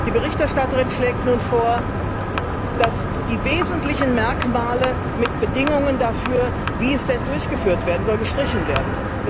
Die Berichterstatterin schlägt nun vor, dass die wesentlichen Merkmale mit Bedingungen dafür, wie es durchgeführt werden soll, gestrichen werden.